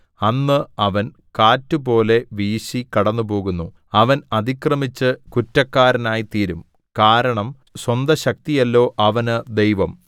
അന്ന് അവൻ കാറ്റുപോലെ വീശി കടന്നുപോകുന്നു അവൻ അതിക്രമിച്ച് കുറ്റക്കാരനായിത്തീരും കാരണം സ്വന്തശക്തിയല്ലോ അവന് ദൈവം